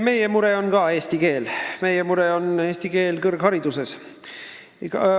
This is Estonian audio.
Meie mure on ka eesti keel, meie mure on eesti keel kõrghariduses.